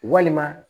Walima